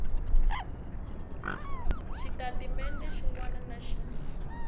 xitatimende xin wana na xin